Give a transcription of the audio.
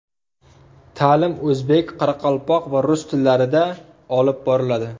Ta’lim o‘zbek, qoraqalpoq va rus tillarida olib boriladi.